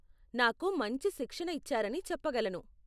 నాకు మంచి శిక్షణ ఇచ్చారని చెప్పగలను.